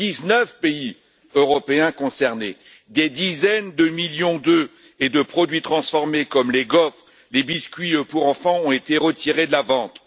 Dix neuf pays européens concernés, des dizaines de millions d'œufs et de produits transformés, comme les gaufres ou les biscuits pour enfants, ont été retirés de la vente.